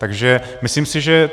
Takže myslím si, že...